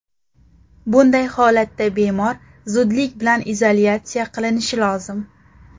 Bunday holatda bemor zudlik bilan izolyatsiya qilinishi lozim.